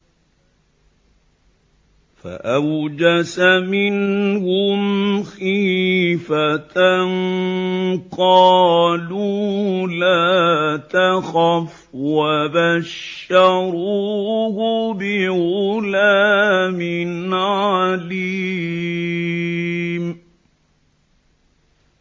فَأَوْجَسَ مِنْهُمْ خِيفَةً ۖ قَالُوا لَا تَخَفْ ۖ وَبَشَّرُوهُ بِغُلَامٍ عَلِيمٍ